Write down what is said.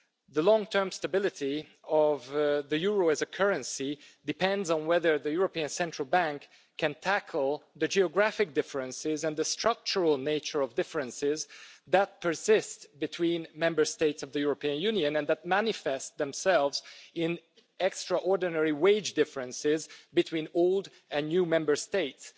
The long term stability of the euro as a currency depends on whether the European Central Bank can tackle the geographic differences and the structural nature of differences that persist between Member States of the European Union and that manifest themselves in extraordinary wage differences between old and new Member States.